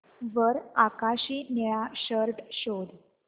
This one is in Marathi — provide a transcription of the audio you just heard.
वर आकाशी निळा शर्ट शोध